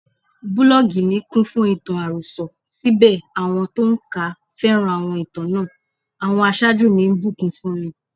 Búlọ́gì mi kúnfún ìtàn àròsọ, síbẹ̀ àwọn tó ń kà á féràn àwọn ìtàn náà; àwọn aṣáájú mi ńbùkún fúnmi.